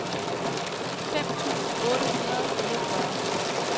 fem tusind otte hundrede og fireogfyrre